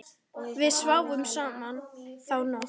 Við sváfum saman þá nótt.